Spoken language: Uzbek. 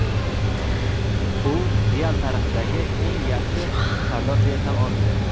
u "Real" tarixidagi eng yaxshi sardor deya tan olingan.